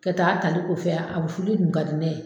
Ka taa ta ne kɔfɛ, a bɛ fɔ ne ye o de kun ka dinɛ ye.